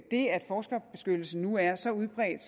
forskerbeskyttelsen nu er så udbredt